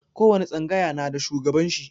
Ko wani tsangaya na da shugaban shi.